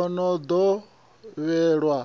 a no ḓo vhewa